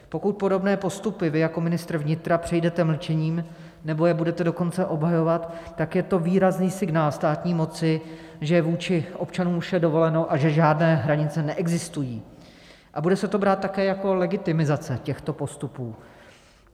Pokud podobné postupy vy jako ministr vnitra přejdete mlčením, nebo je budete dokonce obhajovat, tak je to výrazný signál státní moci, že vůči občanům je vše dovoleno a že žádné hranice neexistují, a bude se to brát také jako legitimizace těchto postupů.